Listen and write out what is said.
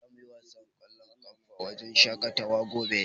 Za mu yi wasan ƙwallon ƙafa a wajen shaƙatawar gobe.